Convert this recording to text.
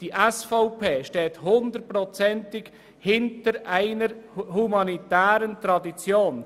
Die SVP steht hundertprozentig hinter einer humanitären Tradition.